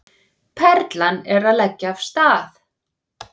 Perlan að leggja af stað